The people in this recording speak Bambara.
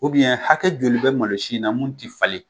ubiyɛn hakɛ joli bɛ malosi ina mu ti falen